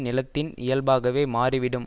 நிலத்தின் இயல்பாகவே மாறிவிடும்